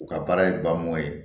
U ka baara ye baa mɔ ye